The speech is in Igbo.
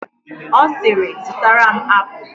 Ọ siiri, zụtara m apụl!